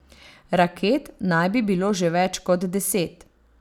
Raket naj bi bilo že več kot deset.